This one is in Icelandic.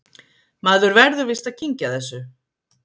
Maður verður víst að kyngja þessu